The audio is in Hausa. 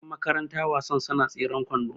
Yanmakaranta wasan suna tseren kwando